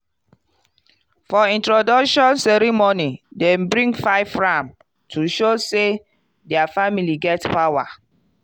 for introduction ceremony dem bring five ram to show say their family get power.